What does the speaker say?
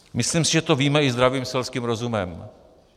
Myslím si, že to víme i zdravým selským rozumem.